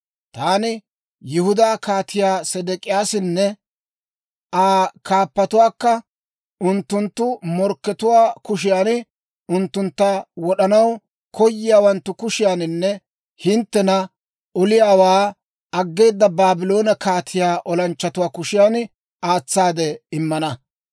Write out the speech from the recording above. «Taani Yihudaa Kaatiyaa Sedek'iyyaasanne Aa kaappatuwaakka unttunttu morkkatuwaa kushiyan, unttuntta wod'anaw koyiyaawanttu kushiyaaninne hinttena oliyaawaa aggeeda Baabloone kaatiyaa olanchchatuwaa kushiyan aatsaade immana.